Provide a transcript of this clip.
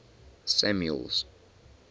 samuel's